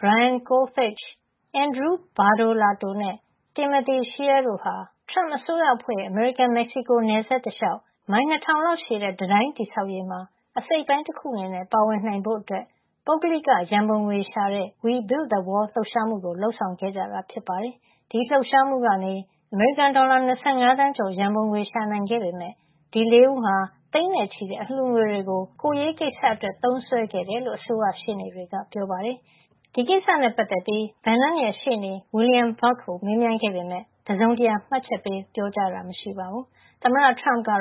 Brian Kolfage, Andrew Badolato နဲ့ Timothy Shea တို့ဟာ ထရမ့်အစိုးရအဖွဲ့ ရဲ့ အမေရိကန်- မက်ဆီကို နယ်စပ်တလျှောက် မိုင် ၂၀၀၀ လောက်ရှည်တဲ့ တံတိုင်း တည်ဆောင်ရေးမှာ အစိတ်အပိုင်းတခု အနေနဲ့ ပါဝင်နိုင်ဖို့ ပုဂ္ဂလိက ရန်ပုံငွေရှာတဲ့ တံတိုင်းတည်ဆောက်ရာမှာ ပါဝင်မယ့် “We Build the Wall” လှုပ်ရှားမှုကို လုပ်ဆောင်ခဲ့ကြတာ ဖြစ်ပါတယ်။ ဒီလှုပ်ရှားမှုကနေ အမေရိကန် ဒေါ်လာ ၂၅ သန်းကျော် ရန်ပုံငွေ ရှာနိုင်ခဲ့ပေမယ့် ဒီ ၄ ဦးဟာ သိန်းနဲ့ ချီတဲ့ အလှူငွေတွေကို ကိုယ်ရေးကိစ္စတွေအတွက် သုံးစွဲခဲ့တယ်လို့ အစိုးရရှေ့နေတွေက ပြောပါတယ်။ ဒီကိစ္စနဲ့ ပတ်သက်ပြီး Bannon ရဲ့ ရှေ့နေ William Burck ကို မေးမြန်းခဲ့ပေမယ့် တစုံတရာ မှတ်ချက်ပေး ပြောကြားတာ မရှိသေးသလို ကျန် ၃